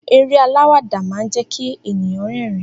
Eré aláwàdà máa ń jẹ́kí ènìyàn rerin